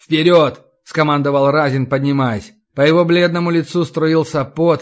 вперёд скомандовал разин поднимаясь по его бледному лицу струился пот